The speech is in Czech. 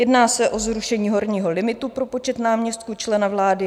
Jedná se o zrušení horního limitu pro počet náměstků člena vlády.